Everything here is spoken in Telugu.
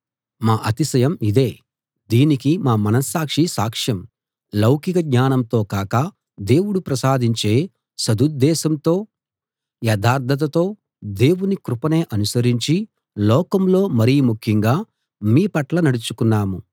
మా అతిశయం ఇదే దీనికి మా మనస్సాక్షి సాక్ష్యం లౌకిక జ్ఞానంతో కాక దేవుడు ప్రసాదించే సదుద్దేశంతో యథార్థతతో దేవుని కృపనే అనుసరించి లోకంలో మరి ముఖ్యంగా మీ పట్ల నడుచుకున్నాము